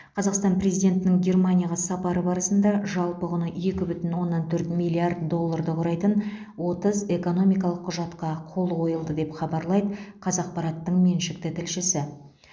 қазақстан президентінің германияға сапары барысында жалпы құны екі бүтін оннан төрт миллиард долларды құрайтын отыз экономикалық құжатқа қол қойылды деп хабарлайды қазақпараттың меншікті тілшісі